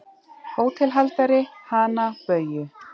HÓTELHALDARI: Hana Bauju?